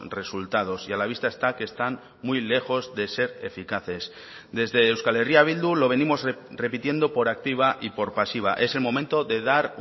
resultados y a la vista está que están muy lejos de ser eficaces desde euskal herria bildu lo venimos repitiendo por activa y por pasiva es el momento de dar